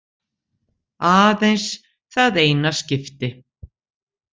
Aðeins það eina skipti.